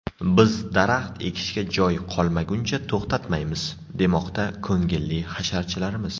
Biz daraxt ekishga joy qolmaguncha to‘xtamaymiz, demoqda ko‘ngilli hasharchilarimiz.